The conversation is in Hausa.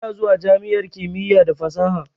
Ina zuwa jami'ar kimiyya da fasaha.